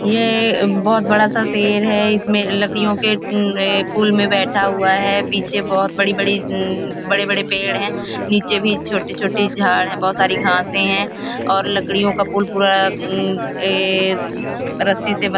यह एक बहुत बड़ा सा शेर है इसमें लकड़ियों के अ पुल में बैठा हुआ है पीछे बहुत बड़ी बड़ी अ बड़े बड़े पेड़ हैं नीचे भी छोटी छोटी झाड हैं बहुत सारी घासे हैं और लकड़ियों का पुल पूरा अम ए रस्सी से बं --